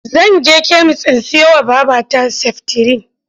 Zan je kemis in siyowa wa babata seftirin.